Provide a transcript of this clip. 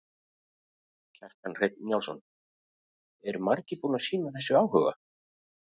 Kjartan Hreinn Njálsson: Eru margir búnir að sýna þessu áhuga?